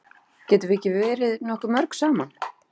Getum við ekki verið nokkuð mörg saman?